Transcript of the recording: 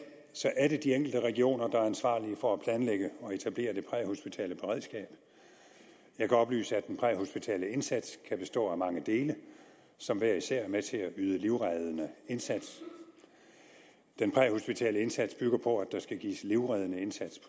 er det de enkelte regioner der er ansvarlige for at planlægge og etablere det præhospitale beredskab jeg kan oplyse at den præhospitale indsats kan bestå af mange dele som hver især er med til at yde livreddende indsats den præhospitale indsats bygger på at der skal gives livreddende indsats